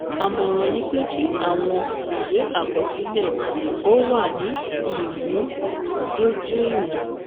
Àmọ̀ràn ni pé kí àwọn ìwé àkọsílẹ̀ ó wà ní ìmúdójúìwọ̀n.